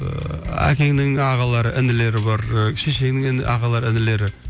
ыыы әкеңнің ағалары інілері бар ыыы шешеңнің іні ағалары інілері